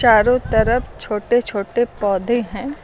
चारों तरफ छोटे छोटे पौधे हैं।